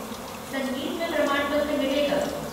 संगीत में प्रमाणपत्र मिलेगा।